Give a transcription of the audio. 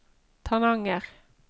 Tananger